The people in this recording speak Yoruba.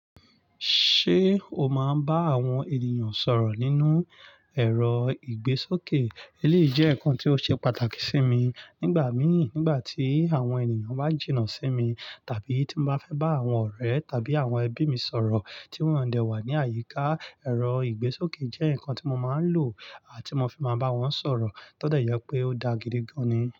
Ṣé o máa ń bá àwọn ènìyàn sọ̀rọ̀ nínú ẹ̀rọ ìgbésókè? Èyí jẹ́ ǹkan tí ó ṣe pàtàkì sí mi nígbà míì, nígbà tí àwọn ènìyàn bá jìnnà sí mi, tàbí tí mo bá fẹ́ bá àwọn ọ̀rẹ́ tàbí àwọn ẹbí mi sọ̀rọ̀ tí wọ́n o dẹ̀ wà ní àyíká, ẹ̀rọ ìgbésókè jẹ́ ǹkan tí mo máa ń lò lati fi máa bá wọn sọ̀rọ̀. Tó de je pé ó daa gidi gan ni.